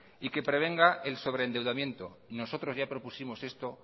y que prevenga el sobre endeudamiento nosotros ya propusimos esto